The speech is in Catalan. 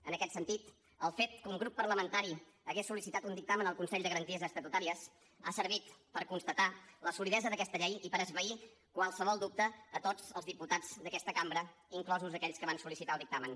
en aquest sentit el fet que un grup parlamentari hagués sol·licitat un dictamen al consell de garanties estatutàries ha servit per constatar la solidesa d’aquesta llei i per esvair qualsevol dubte a tots els diputats d’aquesta cambra inclosos aquells que van sol·licitar el dictamen